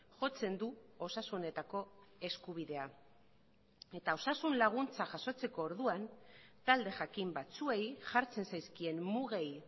jotzen du osasunetako eskubidea eta osasun laguntza jasotzeko orduan talde jakin batzuei jartzen zaizkien mugei